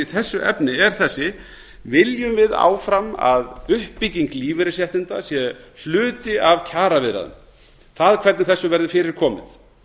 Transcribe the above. þessu efni er þessi viljum við áfram að uppbygging lífeyrisréttinda sé hluti af kjaraviðræðum það hvernig þessu verður fyrir komið